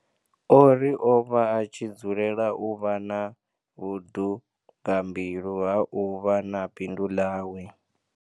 O ri o vha a tshi dzulela u vha na vhudugambilu ha u vha na bindu ḽawe.